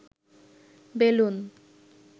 balloon